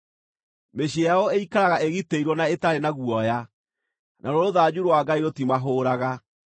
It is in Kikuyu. Mĩciĩ yao ĩikaraga ĩgitĩirwo na ĩtarĩ na guoya; naruo rũthanju rwa Ngai rũtimahũũraga.